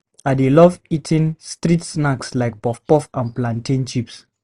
I dey love eating street snacks like puff-puff and plantain chips